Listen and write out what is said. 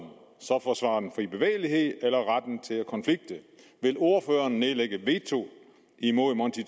så forsvare den frie bevægelighed eller retten til at konflikte vil ordføreren nedlægge veto imod monti